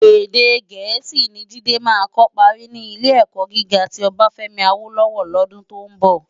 Èdè Gẹẹsi ni Jide má kò pári ni Ilé-èkò gigá ti Obafemi Awolowo lòdún tó n bò.